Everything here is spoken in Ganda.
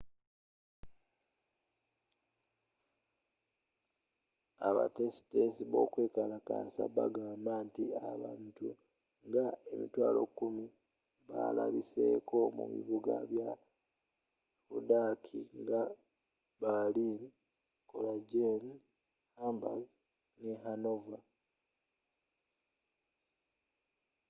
abateesiteesi b'okwekalakasa bagamba nti abantu nga 100,000 balabiseko mu bibuga bya budaaki nga berlin cologne hamburg ne hanover